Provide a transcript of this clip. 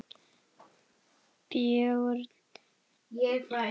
Björn Ingi: Haft eftir þér?